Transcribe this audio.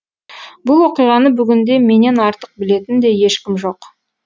бұл оқиғаны бүгінде менен артық білетін де ешкім жоқ